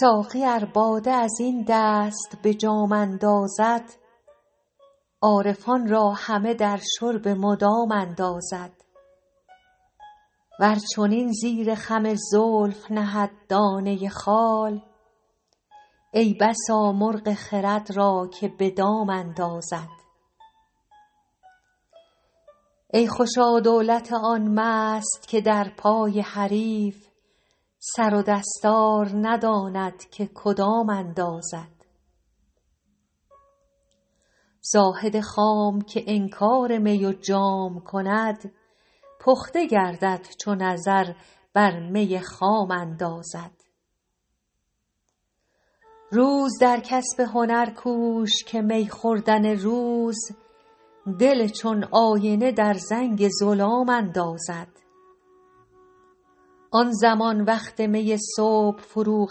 ساقی ار باده از این دست به جام اندازد عارفان را همه در شرب مدام اندازد ور چنین زیر خم زلف نهد دانه خال ای بسا مرغ خرد را که به دام اندازد ای خوشا دولت آن مست که در پای حریف سر و دستار نداند که کدام اندازد زاهد خام که انکار می و جام کند پخته گردد چو نظر بر می خام اندازد روز در کسب هنر کوش که می خوردن روز دل چون آینه در زنگ ظلام اندازد آن زمان وقت می صبح فروغ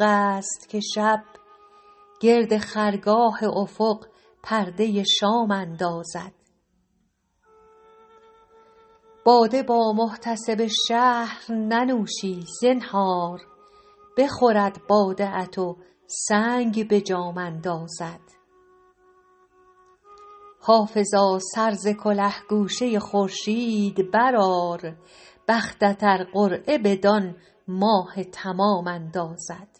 است که شب گرد خرگاه افق پرده شام اندازد باده با محتسب شهر ننوشی زنهار بخورد باده ات و سنگ به جام اندازد حافظا سر ز کله گوشه خورشید برآر بختت ار قرعه بدان ماه تمام اندازد